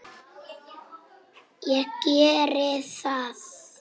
Og geri það.